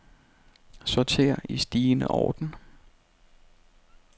Sorter i stigende orden.